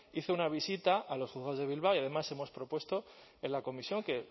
hice una visita a los juzgados de bilbao y además hemos propuesto en la comisión que